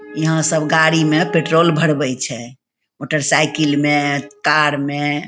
यहाँ सब गाड़ी में पेट्रोल भरवे छै मोटरसाइकिल में कार में ।